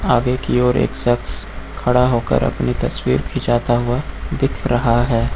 आगे की ओर एक सख्श खड़ा होकर अपनी तस्वीर खींचाता हुआ दिख रहा है।